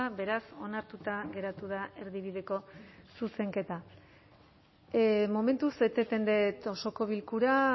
beraz onartuta geratu da erdibideko zuzenketa momentuz eteten dut osoko bilkura